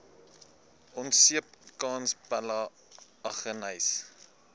onseepkans pella aggeneys